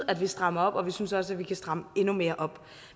at vi strammer op og vi synes også at vi kan stramme endnu mere op